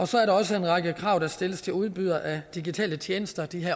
så er der også en række krav der stilles til udbydere af digitale tjenester de